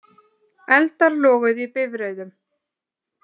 Eldar loguðu í bifreiðum